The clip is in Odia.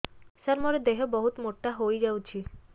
ସାର ମୋର ଦେହ ବହୁତ ମୋଟା ହୋଇଯାଉଛି